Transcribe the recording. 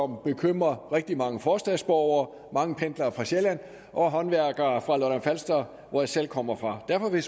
bekymrer rigtig mange forstadsborgere mange pendlere fra sjælland og håndværkere fra lolland falster hvor jeg selv kommer fra derfor vil